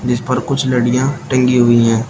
जिस पर कुछ लड़ियाँ टंगी हुई है।